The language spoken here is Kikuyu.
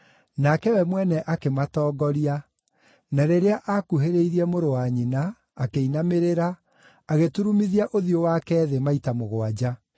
Nake we mwene akĩmatongoria, na rĩrĩa aakuhĩrĩirie mũrũ wa nyina, akĩinamĩrĩra, agĩturumithia ũthiũ wake thĩ maita mũgwanja.